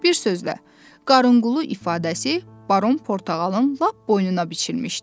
Bir sözlə, qarınqulu ifadəsi baron portağalın lap boynuna biçilmişdi.